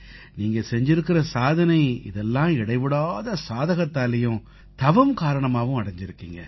நீங்க செய்திருக்கற சாதனை இதெல்லாம் இடைவிடாத சாதகத்தாலயும் தவம் காரணமாகவும் அடைஞ்சிருக்கீங்க